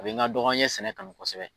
Kabi n ka dɔgɔ an ye sɛnɛ kanu kosɛbɛ